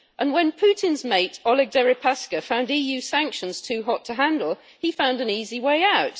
When Putin's mate Oleg Deripaska found EU sanctions too hot to handle, he found an easy way out.